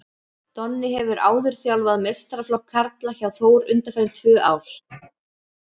Donni hefur áður þjálfað meistaraflokk karla hjá Þór undanfarin tvö ár.